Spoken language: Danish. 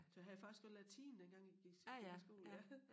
Så havde jeg faktisk også latin dengang jeg gik gik i skole ja